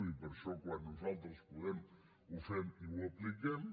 i per això quan nosaltres podem ho fem i ho apliquem